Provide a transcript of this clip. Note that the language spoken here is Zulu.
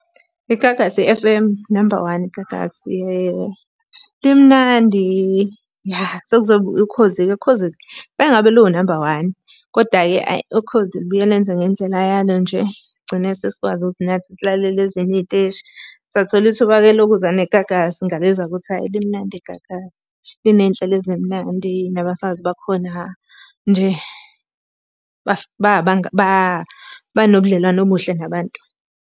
IGagasi F_M unamba one iGagasi limnandi ya. Sekuzoba Ukhozi-ke, Ukhozini mele ngabe luwu namba one. Koda-ke ayi Ukhozi lubuye lenze ngendlela yalo nje, gcine sesikwazi ukuthi nathi silalele ezinye iy'teshi. Sathola ithuba-ke lokuzwa neGagasi ngalizwa ukuthi ayi limnandi iGagasi. Liney'nhlelo ezimnandi, nabasakazi bakhona nje banobudlelwane obuhle nabantu.